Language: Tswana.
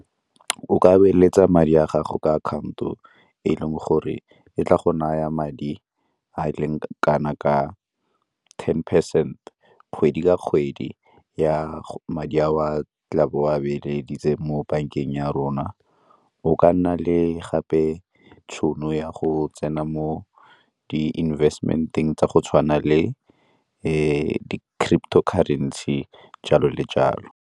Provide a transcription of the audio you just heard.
O ka beeletsa madi a gago ka account-o e e leng gore e tla go naya madi a e leng kana ka ten percent, kgwedi ka kgwedi ya madi a o a tla bo o a beeleditse mo bankeng ya rona. O ka nna le gape tšhono ya go tsena mo di-investment-eng tsa go tshwana le di-Cryptocurrency, jalo le jalo.